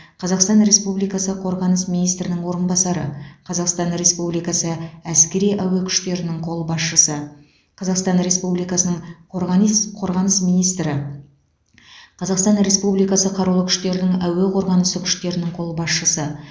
қазақстан республикасы қорғаныс министрінің орынбасары қазақстан республикасы әскери әуе күштерінің қолбасшысы қазақстан республикасының қорғанис қорғаныс министрі қазақстан республикасы қарулы күштерінің әуе қорғанысы күштерінің қолбасшысы